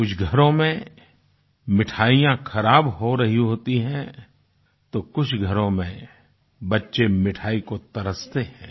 कुछ घरों में मिठाइयाँ खराब हो रही होती हैं तो कुछ घरों में बच्चे मिठाई को तरसते हैं